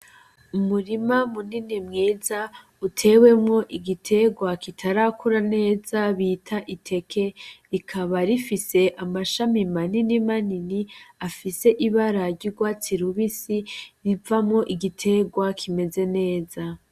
Umurima munini mwiza uteyemwo igiterwa kitarakura neza bita iteke rikaba rifise amababi manini manini afis'ibara ry'urwatsi rubisi bibonekako ar'igiterwq kimeze neza